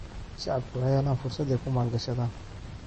Shacabku waxay helaan fursad ay ku maalgashadaan.